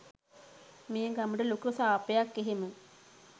මේ ගමට ලොකු සාපයක් එහෙම